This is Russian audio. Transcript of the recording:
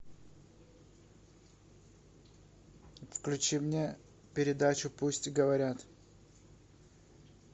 включи мне передачу пусть говорят